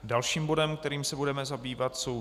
Dalším bodem, kterým se budeme zabývat, jsou